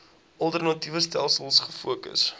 alternatiewe stelsels gefokus